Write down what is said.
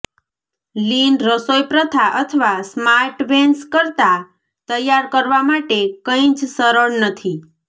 લીન રસોઈપ્રથા અથવા Smart Ones કરતાં તૈયાર કરવા માટે કંઈ જ સરળ નથી